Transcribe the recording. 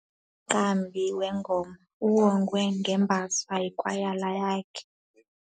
Umqambi wengoma uwongwe ngembasa yikwayala yakhe.